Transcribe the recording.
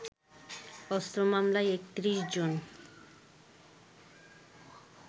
অস্ত্র মামলায় ৩১ জন